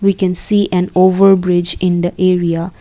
we can see an over bridge in the area.